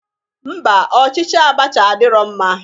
Ḿbà, ọchịchị abacha adirọ mma.